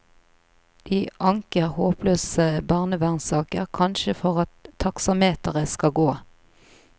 De anker håpløse barnevernssaker, kanskje for at taksameteret skal gå.